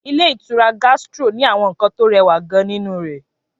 Ilé ìtura Gastro ni àwọn nkan tó rẹwa gan ninu re